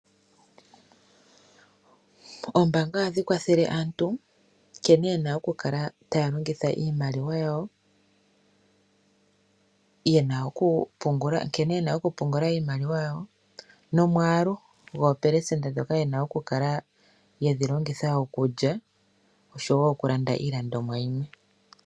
Oombaanga ohadhi kwathele aantu nkene yena oku kala taya longitha iimaliwa yawo, nkene yena oku pungula iimaliwa yawo nomwaalu goopelesenda ndhoka yena oku kala yedhi longitha okulya oshowo oku landa iilandomwa yimwe.